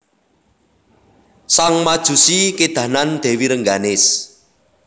Sang Majusi kédanan Dèwi Rengganis